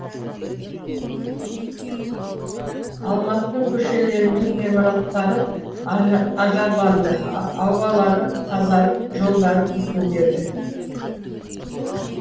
алматының көшелері мен ғимараттары ажарланды аулалары тазарып жолдары бүтінделді